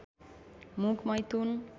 मुख मैथुन